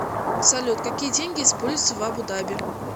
салют какие деньги используются в абу даби